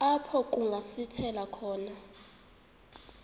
apho kungasithela khona